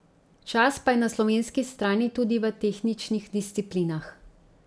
Čas pa je na slovenski strani tudi v tehničnih disciplinah.